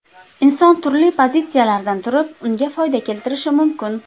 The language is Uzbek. Inson turli pozitsiyalardan turib unga foyda keltirishi mumkin.